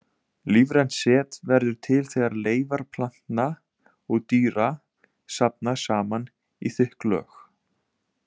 Lífrænt set verður til þegar leifar plantna og dýra safnast saman í þykk lög.